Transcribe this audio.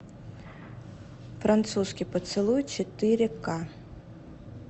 французский поцелуй четыре ка